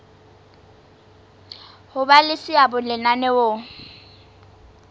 ho ba le seabo lenaneong